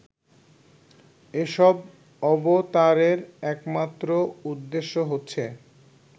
এসব অবতারের একমাত্র উদ্দেশ্য হচ্ছে